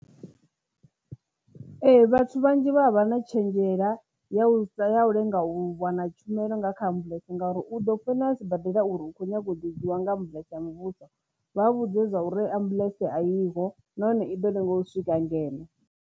Ee, vhathu vhanzhi vha vha vha na tshenzhela ya u sa ya u lenga u wana tshumelo nga kha ambuḽentse ngauri u ḓo founela sibadela uri u kho nyaga u ḓisiwa nga ambuḽentse a muvhuso vha u vhudze zwa uri ambuḽentse a iyo nahone i ḓo lenga u swika ngeno